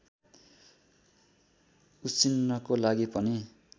उसिन्नको लागि पनि